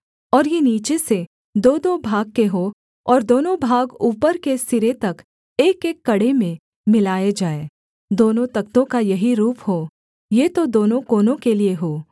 और ये नीचे से दोदो भाग के हों और दोनों भाग ऊपर के सिरे तक एकएक कड़े में मिलाए जाएँ दोनों तख्तों का यही रूप हो ये तो दोनों कोनों के लिये हों